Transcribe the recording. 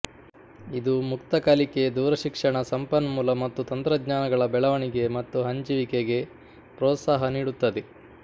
ಇದು ಮುಕ್ತ ಕಲಿಕೆ ದೂರಶಿಕ್ಷಣ ಸಂಪನ್ಮೂಲ ಮತ್ತು ತಂತ್ರಜ್ಞಾನಗಳ ಬೆಳವಣಿಗೆ ಮತ್ತು ಹಂಚಿವಿಕೆಗೆ ಪ್ರೋತ್ಸಾಹ ನೀಡುತ್ತದೆ